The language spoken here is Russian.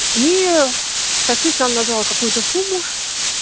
и таксистам назвал какую-то сумму